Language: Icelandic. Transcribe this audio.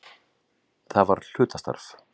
Það var hlutastarf.